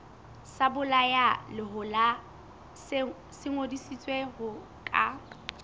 sebolayalehola se ngodisitswe ho ka